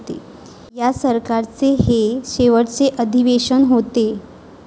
या सरकारचे हे शेवटचे अधिवेशन होते.